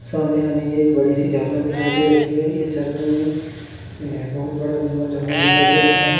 सामने हमें एक बड़ी सी झरना दिखाई दे रही है यह झरने में बोहोत बड़ा विशाल झरना दिखाई दे रहा है।